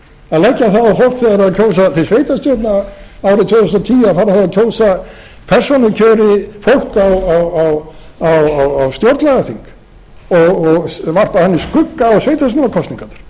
það er að kjósa til sveitarstjórna árið tvö þúsund og tíu að fara þá að kjósa persónukjöri fólk á stjórnlagaþing og varpa þannig skugga á sveitarstjórnarskosningarnar það er nýjasta tillagan af því það er talið að það muni kosta